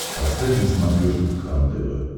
поставь на смотрешке кхлм тв